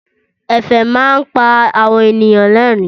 Ẹ̀fẹ̀ máa ń pa àwọn ènìyàn lẹ́rìn-ín.